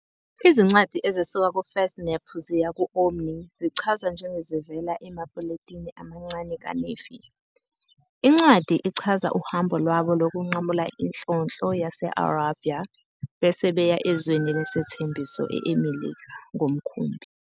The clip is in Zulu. Izincwadi ezisuka ku-First Nephi ziya ku-Omni zichazwa njengezivela "emapuletini amancane kaNefi". Incwadi ichaza uhambo lwabo lokunqamula inhlonhlo yase-Arabia, bese beya "ezweni lesethembiso", eMelika, ngomkhumbi.